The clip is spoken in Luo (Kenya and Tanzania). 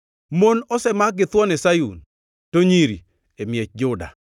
Mon osemak githuon e Sayun, to nyiri e miech Juda.